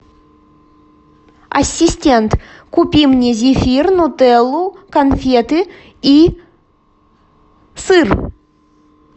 ассистент купи мне зефир нутеллу конфеты и сыр